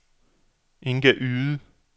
Inga Yde